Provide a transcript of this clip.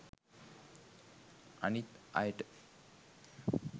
අනිත් අයට